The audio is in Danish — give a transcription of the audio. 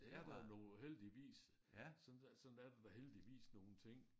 Det er da nogle heldigvis sådan sådan er der da heldigvis nogle ting